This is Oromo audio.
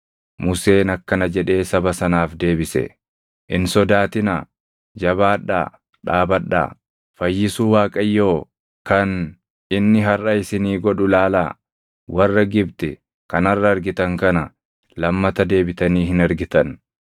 Museen akkana jedhee saba sanaaf deebise; “Hin sodaatinaa; jabaadhaa dhaabadhaa! Fayyisuu Waaqayyoo kan inni harʼa isinii godhu ilaalaa! Warra Gibxi kan harʼa argitan kana lammata deebitanii hin argitan.